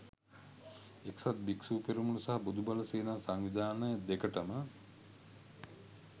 එක්සත් භික්‍ෂු පෙරමුණ සහ බොදු බල සේනා සංවිධානය දෙකටම